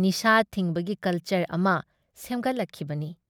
ꯅꯤꯁꯥ ꯊꯤꯡꯕꯒꯤ ꯀꯜꯆꯔ ꯑꯃ ꯁꯦꯝꯒꯠꯂꯛꯈꯤꯕꯅꯤ ꯫